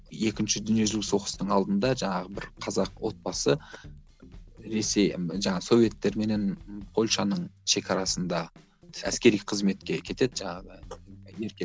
екінші дүниежүзілік соғыстың алдында жаңағы бір қазақ отбасы ресей жаңағы советтер менен польшаның шекарасында әскери қызметке кетеді жаңағы еркек